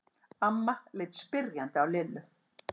Amma leit spyrjandi á Lillu.